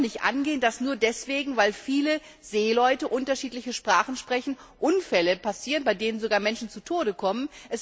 Es kann doch nicht angehen, dass nur deswegen, weil viele Seeleute unterschiedliche Sprachen sprechen, Unfälle passieren, bei denen sogar Menschen zu Tode kommen.